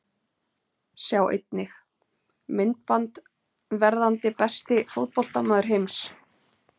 Sjá einnig: Myndband: Verðandi besti fótboltamaður heims?